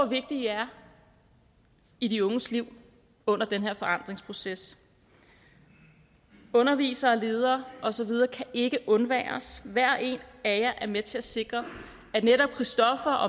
vigtige i er i de unges liv under den her forandringsproces undervisere ledere og så videre kan ikke undværes hver og en af jer er med til at sikre at netop christoffer